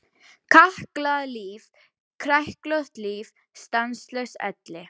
Kalkað líf, kræklótt líf, stanslaus elli.